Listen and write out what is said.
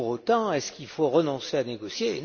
Pour autant, est ce qu'il faut renoncer à négocier?